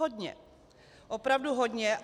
Hodně, opravdu hodně.